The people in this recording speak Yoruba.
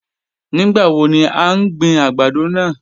Nigbawo ni a n gbin agbado naa?